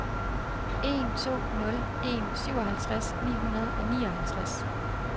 en to nul en syvoghalvtreds ni hundrede og nioghalvtreds